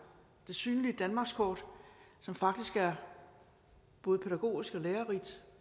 det synlige danmarkskort som faktisk er både pædagogisk og lærerigt